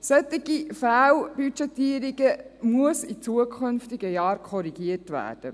Solche Fehlbudgetierungen müssen in zukünftigen Jahren korrigiert werden.